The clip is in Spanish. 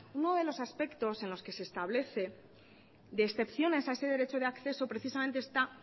uno de los aspectos en los que se establece de excepciones a ese derecho de acceso precisamente está